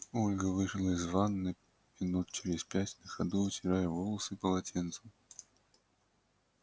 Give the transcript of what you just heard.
ольга вышла из ванны минут через пять на ходу вытирая волосы полотенцем